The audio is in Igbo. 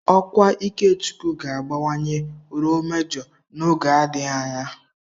Ọkwa Ikechukwu ga-abawanye ruo Mejọ n'oge adịghị anya.